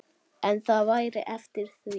En það væri eftir því.